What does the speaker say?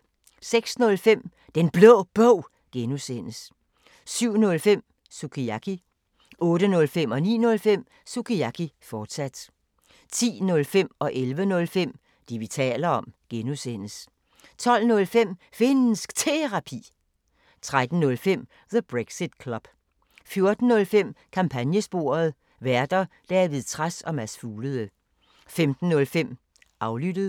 06:05: Den Blå Bog (G) 07:05: Sukiyaki 08:05: Sukiyaki, fortsat 09:05: Sukiyaki, fortsat 10:05: Det, vi taler om (G) 11:05: Det, vi taler om (G) 12:05: Finnsk Terapi 13:05: The Brexit Club 14:05: Kampagnesporet: Værter: David Trads og Mads Fuglede 15:05: Aflyttet